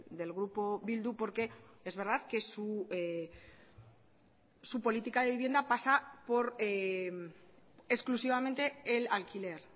del grupo bildu porque es verdad que su política de vivienda pasa por exclusivamente el alquiler